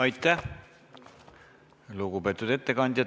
Aitäh, lugupeetud ettekandja!